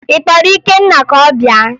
Ị kpọrọ Ikenna ka ọ bịa?